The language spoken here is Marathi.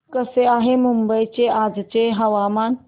कसे आहे मुंबई चे आजचे हवामान